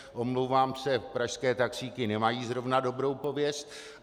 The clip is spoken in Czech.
Omlouvám se, pražské taxíky nemají zrovna dobrou pověst.